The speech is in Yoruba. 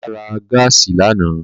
Bàbá ra gáàsì lánàá